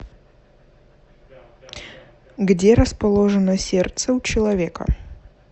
где расположено сердце у человека